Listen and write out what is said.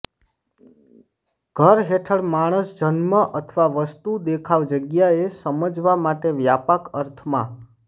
ઘર હેઠળ માણસ જન્મ અથવા વસ્તુ દેખાવ જગ્યાએ સમજવા માટે વ્યાપક અર્થમાં